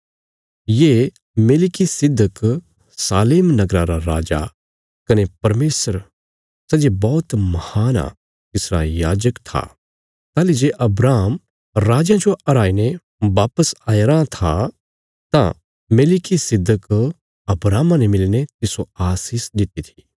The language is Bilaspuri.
ये मेलिकिसिदक शालेम नगरा रा राजा कने परमेशर सै जे बौहत महान आ तिसरा याजक था ताहली जे अब्राहम राजयां जो हराईने वापस आया रां था तां मेलिकिसिदक अब्राहमा ने मिलीने तिस्सो आशीष दित्ति थी